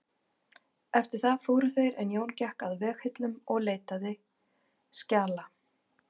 Eftir það fóru þeir en Jón gekk að vegghillum og leitaði skjala.